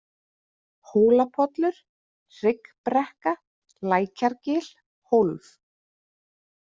Hólapollur, Hryggbrekka, Lækjargil, Hólf